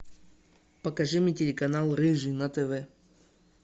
покажи мне телеканал рыжий на тв